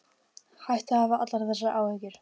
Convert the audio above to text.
Hættu að hafa allar þessar áhyggjur.